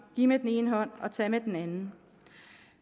give med den ene hånd og tage med den anden